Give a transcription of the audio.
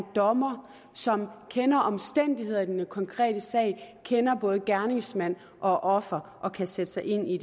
dommer som kender omstændighederne i den konkrete sag kender både gerningsmand og offer og kan sætte sig ind i